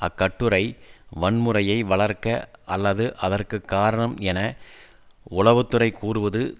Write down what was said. அக்கட்டுரை வன்முறையை வளர்க்க அல்லது அதற்கு காரணம் என உளவு துறை கூறுவது